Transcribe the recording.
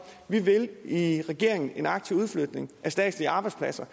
vi vil i regeringen en aktiv udflytning af statslige arbejdspladser